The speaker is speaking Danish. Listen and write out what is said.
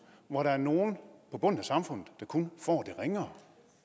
hvor der er nogle på bunden af samfundet der kun får det ringere